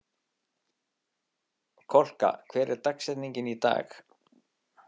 Kolka, hver er dagsetningin í dag?